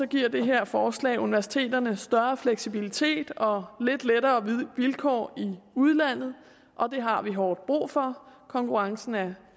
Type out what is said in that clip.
giver det her forslag universiteterne større fleksibilitet og lidt lettere vilkår i udlandet og det har vi hårdt brug for konkurrencen er